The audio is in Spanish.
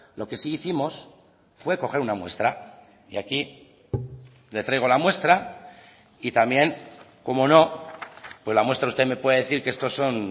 lo que sí hicimos fue coger una muestra y aquí le traigo la muestra y también cómo no pues la muestra usted me puede decir que estos son